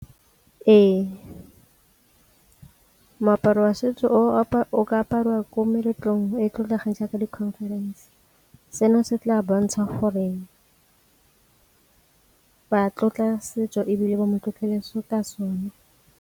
Ee, moaparo wa setso o ka apariwa ko meletlong e e tlotlegang jaaka di-conference, seno se tla bontsha gore ba tlotla setso ebile ba mo tlotlo le ka sone.